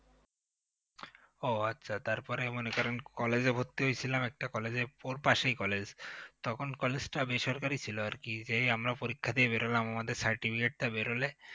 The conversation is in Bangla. ও আচ্ছা তারপরে মনে করেন college এ ভর্তি হয়েছিলাম একটা college এ ওর পাশেই college তখন college টা বেসরকারি ছিল আরকি তবে এই আমরা পরীক্ষা দিয়ে বেরোলাম আমাদের certificate টা বেরলে